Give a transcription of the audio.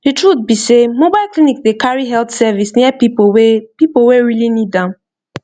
the truth be sey mobile clinic dey carry health service near people wey people wey really need am